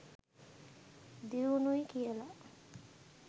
දියුණුයි කියලා.